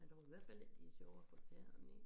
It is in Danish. Jeg tror i hvert fald ikke de sjove at få tæerne i